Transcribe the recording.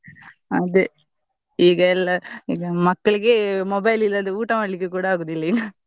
ಅದೆ ಈಗ ಎಲ್ಲಾ ಈಗ ಮಕ್ಳಿಗೆ mobile ಇಲ್ಲದೆ ಊಟಾ ಮಾಡ್ಲಿಕ್ಕೆ ಕೂಡಾ ಆಗುದಿಲ್ಲಾ ಈಗಾ .